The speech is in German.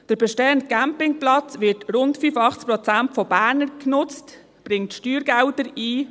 Der bestehende Campingplatz wird zu rund 85 Prozent von Bernern genutzt und bringt Steuergelder ein.